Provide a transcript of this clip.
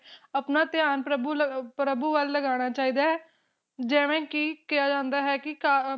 ਆਪਣਾ ਧਿਆਨ ਪ੍ਰਭ ਪ੍ਰਭੂ ਵੱਲ ਲਗਾਉਣਾ ਚਾਹੀਦਾ ਹੈ ਜਿਵੇ ਕੇ ਕਿਹਾ ਜਾਂਦਾ ਹੈ ਕੇ